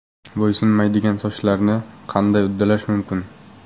Bo‘ysunmaydigan sochlarni qanday uddalash mumkin?.